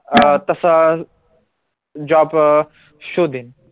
अं तसं job अं शोधेन